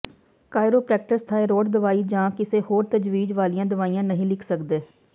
chiropractors thyroid ਦਵਾਈ ਜਾਂ ਕਿਸੇ ਹੋਰ ਤਜਵੀਜ਼ ਵਾਲੀਆਂ ਦਵਾਈਆਂ ਨਹੀਂ ਲਿਖ ਸਕਦੇ